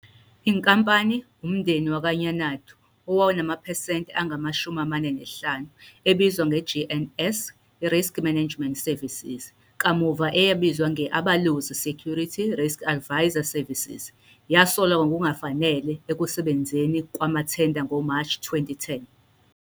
Inkampani, umndeni wakwaNyanada owawunamaphesenti angama-45, ebizwa nge- GNS Risk Management Services, kamuva eyabizwa nge- Abalozi Security Risk Advisory Services, yasolwa ngokungafanele ekusebenzeni kwamathenda ngoMashi 2010.